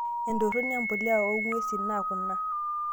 Entoronii empuliyaa oo ng'wesin naa kuna;